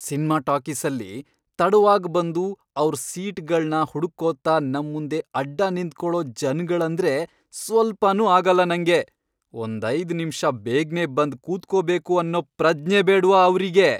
Cinema ಟಾಕೀಸಲ್ಲಿ ತಡವಾಗ್ಬಂದು ಅವ್ರ್ ಸೀಟ್ಗಳ್ನ ಹುಡುಕ್ಕೋತಾ ನಮ್ಮುಂದೆ ಅಡ್ಡ ನಿಂತ್ಕೊಳೋ ಜನ್ಗಳಂದ್ರೆ ಸ್ವಲ್ಪನೂ ಆಗಲ್ಲ ನಂಗೆ, ಒಂದೈದ್ ನಿಮ್ಷ ಬೇಗ್ನೇ ಬಂದ್ ಕೂತ್ಕೋಬೇಕು ಅನ್ನೋ ಪ್ರಜ್ಞೆ ಬೇಡ್ವಾ ಅವ್ರಿಗೆ!